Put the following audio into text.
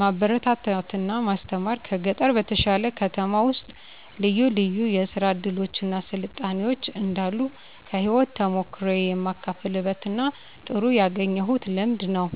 ማበረታታት እና ማስተማር ከገጠር በተሻለ ከተማ ውስጥ ልዩ ልዩ የስራ እድሎች እና ስልጣኔዎች እንዳሉ ከህይወት ተሞክሮየ የማካፍልበት እና ጥሩ ያገኘሁት ልምድ ነው።